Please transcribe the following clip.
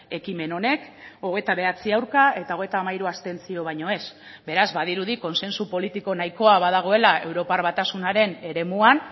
ekimen honek hogeita bederatzi aurka eta hogeita hamairu abstentzio baino ez beraz badirudi kontsentsu politiko nahikoa badagoela europar batasunaren eremuan